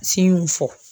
fɔ